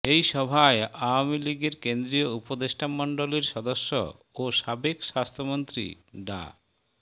এই সভায় আওয়ামী লীগের কেন্দ্রীয় উপদেষ্টামণ্ডলীর সদস্য ও সাবেক স্বাস্থ্যমন্ত্রী ডা